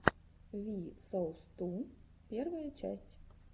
ви соус ту первая часть